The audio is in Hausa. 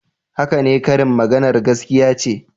Haka ne, karin maganar gaskiya ce